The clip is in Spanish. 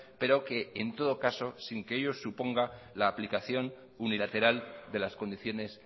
pero que en todo caso sin que ello suponga la aplicación unilateral de las condiciones